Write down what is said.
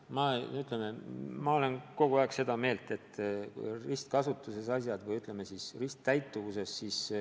Ma kinnitan, et ma olen kogu aeg olnud seda meelt, et andmed peavad olema ristkasutuses või, ütleme siis, risttäituvuses.